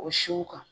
O siw kan